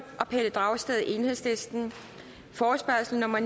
og pelle dragsted forespørgsel nummer